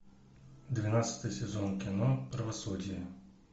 двенадцатый сезон кино правосудие